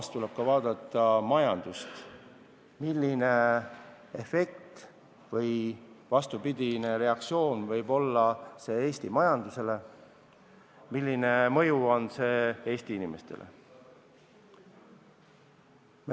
Kuid tuleb vaadata ka majandust: millist efekti või vastupidist reaktsiooni võib see tekitada Eesti majanduses.